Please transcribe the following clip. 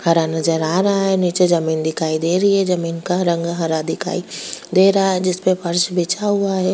हरा नजर आ रहा है नीचे जमीन दिखाई दे रही है जमीन का रंग हरा दिखाई दे रहा है जिस पे फर्श बिछा हुआ है।